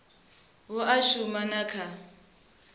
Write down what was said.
hu a shuma na kha